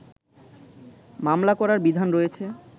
মামলা করার বিধান রয়েছে